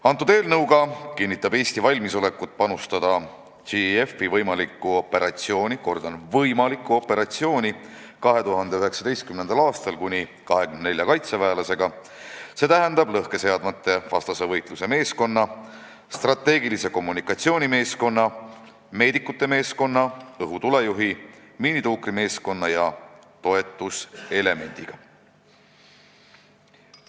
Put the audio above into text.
Selle eelnõuga kinnitab Eesti valmisolekut panustada 2019. aastal JEF-i võimalikku operatsiooni – kordan, võimalikku operatsiooni – kuni 24 kaitseväelasega, st lõhkeseadmete vastase võitluse meeskonna, strateegilise kommunikatsiooni meeskonna, meedikute meeskonna, õhutulejuhi, miinituukrimeeskonna ja toetuselemendiga.